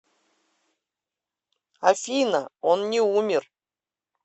афина он не умер